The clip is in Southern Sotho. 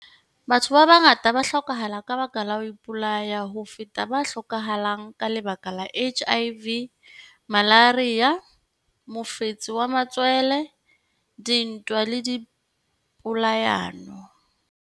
Batho ba bangata ba hlokahala ka lebaka la ho ipolaya ho feta ba hlokahalang ka lebaka la HIV, malaria, mofetshe wa matswele, dintwa le dipolayano.